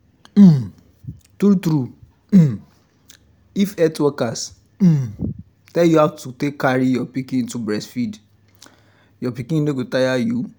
um true true um if health workers um tell you how to take carry your pikin to breastfeed your pikin no go tire you